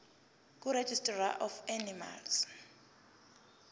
kuregistrar of animals